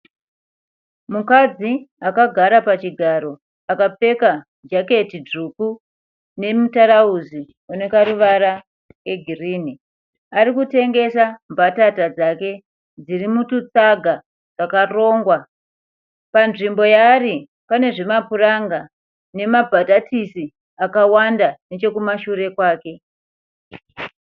Mukadzi akagara pachigaro. Akapfeka jaketi dzvuku nemutarausi une karuvara kegirini. Ari kutengesa mbatata dzake dziri mututsaga twakarongwa. Panzvimbo yaari pane zvimapuranga nemambatatisi akawanda nechekumashure kwake.